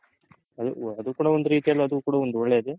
ಅದು ಕೂಡ ಒಂದ್ ರೀತಿ ಒಳ್ಳೇದೆ